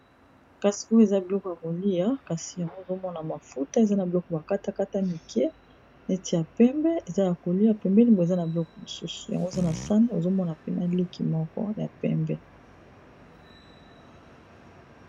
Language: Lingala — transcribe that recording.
kasi oyo eza biloko ya kolia kasi yango ezomona mafuta eza na biloko bakata kata mike neti ya pembe eza ya kolia pembeli mpo eza na biloko mosusu yango eza na sane ozomona pena liki moko ya pembe